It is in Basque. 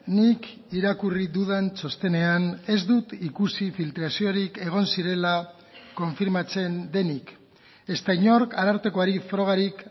nik irakurri dudan txostenean ez dut ikusi filtraziorik egon zirela konfirmatzen denik ezta inork arartekoari frogarik